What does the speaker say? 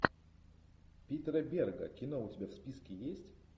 питера берга кино у тебя в списке есть